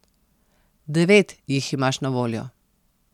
Devet jih imaš na voljo.